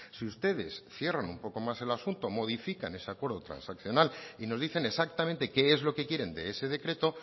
si ustedes cierran un poco más el asunto modifican ese acuerdo transaccional y nos dicen exactamente qué es lo que quieren de ese decreto